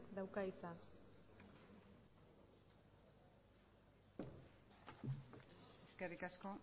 dauka hitza eskerrik asko